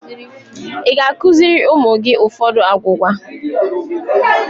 Ịga akụziri ụmụ gị ụfọdụ agwugwa?